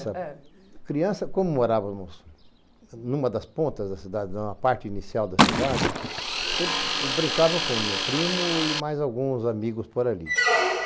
criança, como morávamos em uma das pontas da cidade, na parte inicial da cidade, eu eu brincava com o meu primo e mais alguns amigos por ali.